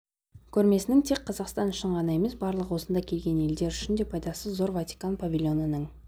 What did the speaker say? көрмесінің тек қазақстан үшін ғана емес барлық осында келген елдер үшін де пайдасы зор ватикан павильонының